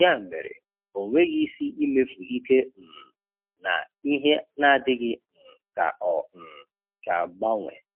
Ya mere, onweghị isi imefu ike um na ihe n'adịghị um ka ọ um ga agbanwe.